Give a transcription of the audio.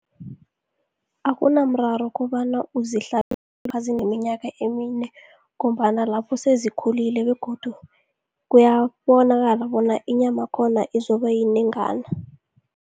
Akunamraro kobana uzihlabe nazineminyaka emine, ngombana lapho sezikhulile begodu kuyabonakala bona, inyama yakhona izokuba yinengana.